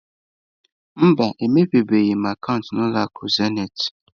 Mba, emepebeghị m akaụntụ na ụlọ akụ acesịị.